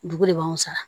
Dugu de b'anw sara